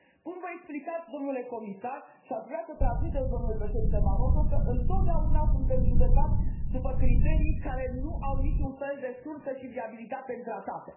Cum vă explicați, dle Comisar, și aș vrea să i transmiteți dlui Președinte Barroso, că întotdeauna suntem judecați după criterii care nu au niciun fel de sursă și viabilitate în tratate?